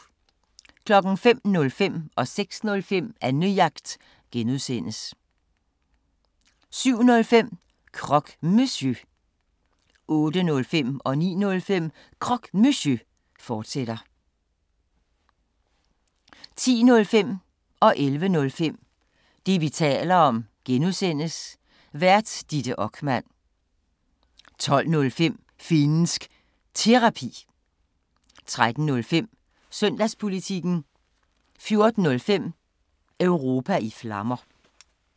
05:05: Annejagt (G) 06:05: Annejagt (G) 07:05: Croque Monsieur 08:05: Croque Monsieur, fortsat 09:05: Croque Monsieur, fortsat 10:05: Det, vi taler om (G) Vært: Ditte Okman 11:05: Det, vi taler om (G) Vært: Ditte Okman 12:05: Finnsk Terapi 13:05: Søndagspolitikken 14:05: Europa i Flammer